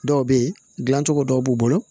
Dɔw bɛ ye gilan cogo dɔw b'u bolo